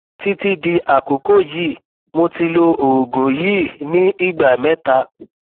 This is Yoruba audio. títí di àkókò yìí mo ti lo oògùn yìí ní ìgbà mẹta